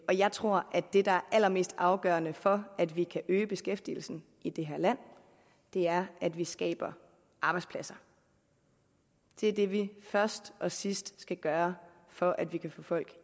jeg tror at det der er allermest afgørende for at vi kan øge beskæftigelsen i det her land er at vi skaber arbejdspladser det er det vi først og sidst skal gøre for at vi kan få folk